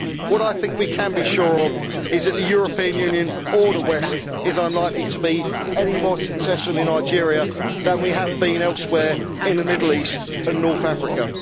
What I think we can be sure of is that the European Union or the West is unlikely to be any more successful in Nigeria than we have been elsewhere in the Middle East and North Africa.